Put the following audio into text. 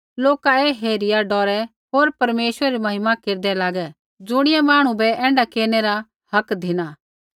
लोका ऐ हेरिया डौरै होर परमेश्वरै री महिमा केरदै लागै ज़ुणियै मांहणु बै ऐण्ढा केरनै रा हक धिना